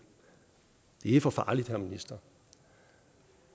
det er for farligt herre minister